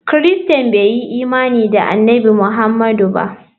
Christains bai yi imani da Annabi Muhammadu ba.